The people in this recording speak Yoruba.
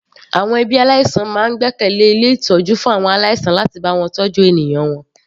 Àwọn ẹbí aláìsàn máa ń gbẹ́kẹ̀lẹ́ ilé ìtọ́jú fún àwọn aláìsàn láti bá wọn tọ́jú ènìyàn wọn.